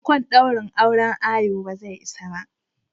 Ankin daurin auren ayo bazai isa ba.